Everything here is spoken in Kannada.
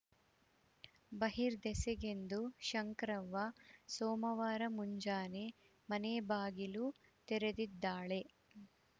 ಬಹಿರ್ದೆಸೆಗೆಂದು ಶಂಕ್ರವ್ವ ಸೋಮವಾರ ಮುಂಜಾನೆ ಮನೆ ಬಾಗಿಲು ತೆರೆದಿದ್ದಾಳೆ